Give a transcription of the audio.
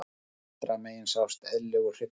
Vinstra megin sést eðlilegur hryggur.